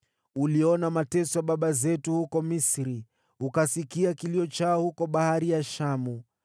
“Uliona mateso ya baba zetu huko Misri, ukasikia kilio chao huko Bahari ya Shamu.